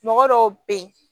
Mɔgɔ dɔw be yen